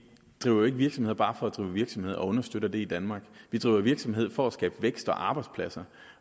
driver jo ikke virksomhed bare for at drive virksomhed og understøtter det i danmark vi driver jo virksomhed for at skabe vækst og arbejdspladser